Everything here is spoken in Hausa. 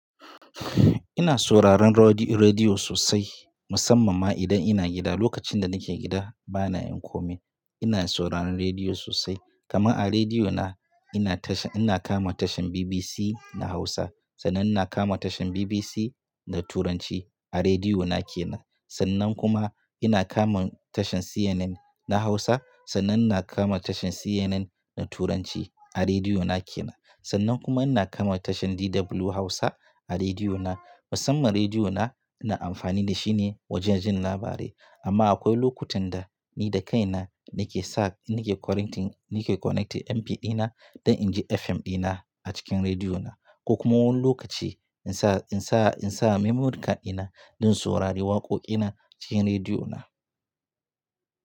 Ina sauraron radi-rediyo sosai, musamman ma idan ina gida. Lokacin da nake gida bana yin kome, ina sauraron rediyo sosai. Kama a rediyo na ina tashe ina kama tashan BBC na Hausa, sannan ina kama tashar BBC na Turanci a rediyo na ke nan. Sannan kuma ina kama tashar CNN na Hausa, sannan na kama tashar CNN na Turanci a rediyo na ke nan. Sannan kuma ina kama tashar DW Hausa a rediyo na. Musamman rediyo na ina amfani da shi ne wajen jin labarai. Amma akwai lokutan da ni da kaina nake sa in nake connecting nake connecting MP3 na don in ji FM ɗina a cikin rediyo na. Ko kuma wani lokaci in sa in sa in sa memory card ɗina don in saurari waƙoƙi na cikin rediyo na.